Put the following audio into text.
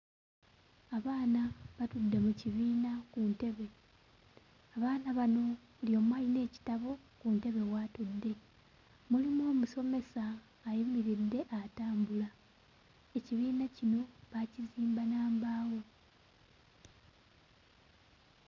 Abaana batudde mu kibiina ku ntebe. Abaana bano buli omu alina ekitabo ku ntebe w'atudde mulimu omusomesa ayimiridde atambula, ekibiina kino baakizimba na mbaawo.